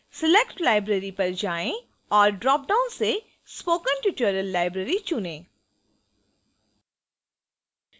select library पर जाएँ और dropdown से spoken tutorial library चुनें